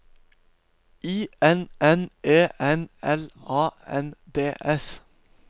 I N N E N L A N D S